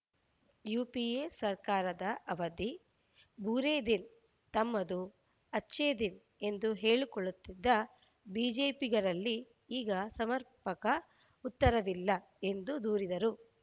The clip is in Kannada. ಯುಪಿಎ ಸರ್ಕಾರದ ಅವಧಿ ಬೂರೇ ದಿನ್‌ ತಮ್ಮದು ಅಚ್ಛೆ ದಿನ್‌ ಎಂದು ಹೇಳಿಕೊಳ್ಳುತ್ತಿದ್ದ ಬಿಜೆಪಿಗರಲ್ಲಿ ಈಗ ಸಮರ್ಪಕ ಉತ್ತರವಿಲ್ಲ ಎಂದು ದೂರಿದರು